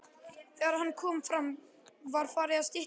Þegar hann kom fram var farið að stytta upp.